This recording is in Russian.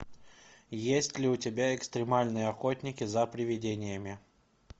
есть ли у тебя экстремальные охотники за привидениями